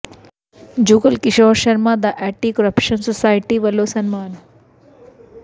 ਜੁਗਲ ਕਿਸ਼ੋਰ ਸ਼ਰਮਾ ਦਾ anti corruption society ਵੱਲੋਂ ਸਨਮਾਨ